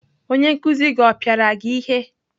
Onye nkuzi gị ọ pịara gị ihe?